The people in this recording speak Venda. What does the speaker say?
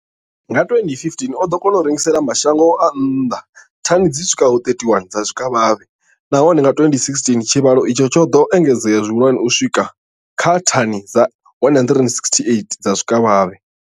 Nga 2015, o ḓo kona u rengisela mashango a nnḓa thani dzi swikaho 31 dza zwikavhavhe, nahone nga 2016 tshivhalo itshi tsho ḓo engedzea zwihulwane u swika kha thani dza 168 dza zwikavhavhe.